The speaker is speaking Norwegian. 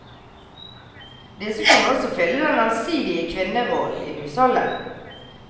Disse kunne også fylle den allsidige kvinnerollen i husholdet.